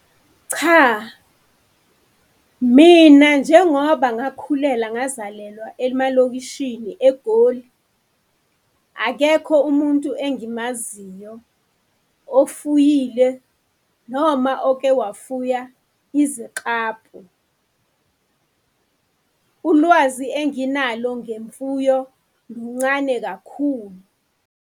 Cha, mina njengoba ngakhulela ngazalelwa emalokishini eGoli, akekho umuntu engimaziyo ofuyile noma oke wafuya iziklabhu. Ulwazi enginalo ngemfuyo luncane kakhulu.